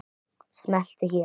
Smelltu hér.